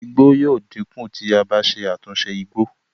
igbó yíò dínkù tí a bá ṣe àtúnṣe igbó